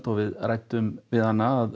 og við ræddum við hana að